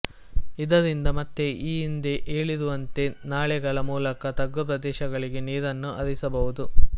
ಇದರಿಂದ ಮತ್ತೆ ಈ ಹಿಂದೆ ಹೇಳಿರುವಂತೆ ನಾಲೆಗಳ ಮೂಲಕ ತಗ್ಗು ಪ್ರದೇಶಗಳಿಗೆ ನೀರನ್ನು ಹರಿಸಬಹುದು